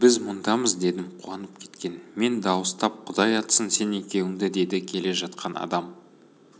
біз мұндамыз дедім қуанып кеткен мен дауыстап құдай атсын сен екеуіңді деді келе жатқан адам